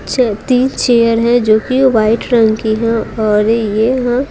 च तीन चेयर है जो कि वाइट रंग की है और ये हं--